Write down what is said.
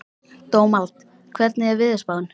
Dómald, hvernig er veðurspáin?